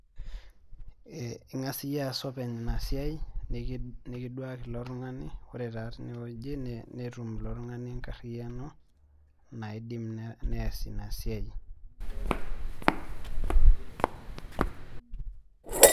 Ing'as iyie aas openy inasiai, nikiduaki ilo tung'ani, ore taa tinewoji netum ilo tung'ani enkarriyiano naidim nees inasiai.